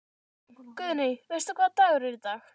Guðný: Veistu hvaða dagur er í dag?